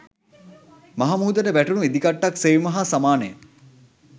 මහ මුහුදට වැටුණු ඉදිකට්ටක් සෙවීම හා සමානය